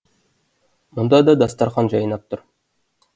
мұнда да дастархан жайнап тұр